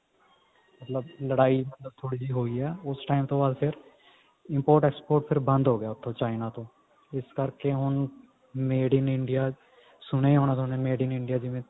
ਲੜਾਈ ਮਤਲਬ ਥੋੜੀ ਜੀ ਹੋਈ ਹੈ ਉਸ time ਤੋਂ ਬਾਅਦ ਫ਼ੇਰ import export ਬੰਦ ਹੋਗਿਆ ਫ਼ੇਰ ਉੱਥੋਂ china ਤੋਂ ਇਸ ਕਰਕੇ ਹੁਣ made in India ਸੁਣਿਆ ਹੀ ਹੋਣੇ ਥੋਨੇ made in India